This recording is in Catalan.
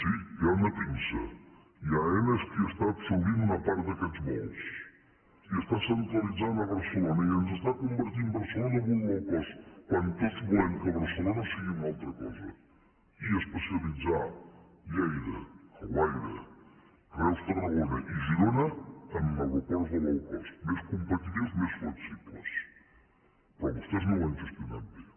sí hi ha una pinça i aena és qui està absorbint una part d’aquests vols i està centralitzant a barcelona i ens està convertint barcelona en un low cost quan tots volem que barcelona sigui una altra cosa i especialitzar lleida alguaire reus tarragona i girona en aeroports de low costperò vostès no ho han gestionat bé